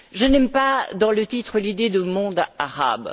Je n'aime pas, dans le titre, l'idée de monde arabe.